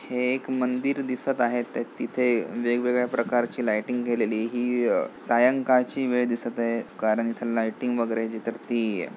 हे एक मंदिर दिसत आहे ते तिथे वेगवेगळ्या प्रकारची लायटिंग केलेली ही अ सायंकाळची वेळ दिसत आहे कारण इथ लायटिंग वगैरे जी तर ती--